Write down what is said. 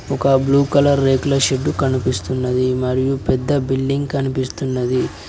ఒక blue colour రేకుల shed కనిపిస్తున్నది మరియు పెద్ద బిల్డింగ్ కనిపిస్తున్నది.